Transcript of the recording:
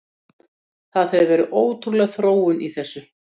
Það hefur verið ótrúleg þróun í þessu.